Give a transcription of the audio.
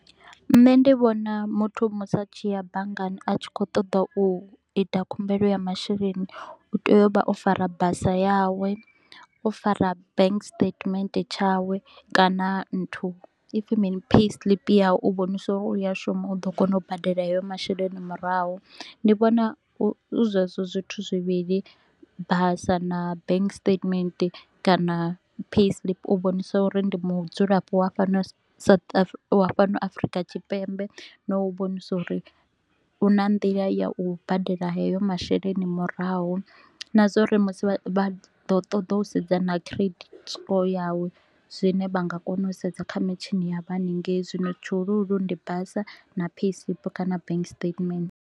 Nṋe ndi vhona muthu musi a tshi ya banngani a tshi kho u ṱoḓa u ita khumbelo ya masheleni, u tea u vha o fara basa yawe, o fara bank statement tshawe kana nthu ipfi mini? Payslip yawe u vhonisa uri u ya shuma u ḓo kona u badela hayo masheleni murahu. Ndi vhona hu zwezwo zwithu zwivhili, basa na bank statement kana payslip u vhonisa uri ndi mudzulapo wa fhano South Af wa fhano Afrika Tshipembe na u vhonise uri u na nḓila ya u badela hayo masheleni murahu. Na zwa uri musi vha ḓo ṱoḓa u sedza na credit score yawe, zwine vha nga kona u sedza kha mitshini ya haningei, zwino tshihulu hulu ndi basa na payslip kana bank statement